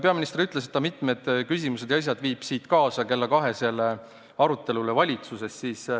Peaminister ütles, et ta võtab siit mitmed küsimused ja teemad kaasa kella kahesele valitsuse arutelule.